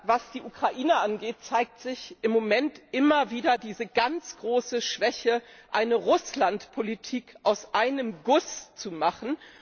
Was die Ukraine angeht, zeigt sich im Moment immer wieder diese ganz große Schwäche, eine Russland Politik aus einem Guss zu machen.